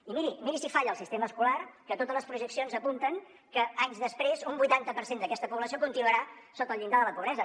i miri miri si falla el sistema escolar que totes les projeccions apunten que anys després un vuitanta per cent d’aquesta població continuarà sota el llindar de la pobresa